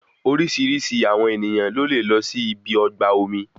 Orísirísi àwọn ènìyàn ló lè lọ sí ibi ọgbà omi